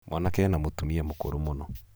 mwanake ena mũtumia mũkũrũ mũno